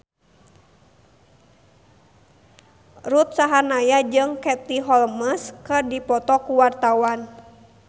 Ruth Sahanaya jeung Katie Holmes keur dipoto ku wartawan